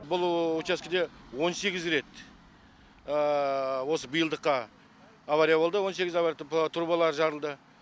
бұл учаскеде он сегіз рет осы биылдыққа авария болды он сегіз авария трубалар жарылды